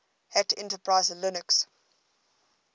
hat enterprise linux